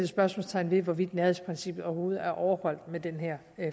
spørgsmålstegn ved hvorvidt nærhedsprincippet overhovedet er overholdt med den her